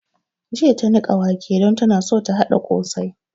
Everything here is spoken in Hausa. Jiya ta niƙa wake don tana so ta haɗa ƙosai